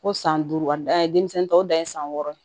Ko san duuru a dan ye denmisɛn tɔw dan ye san wɔɔrɔ ye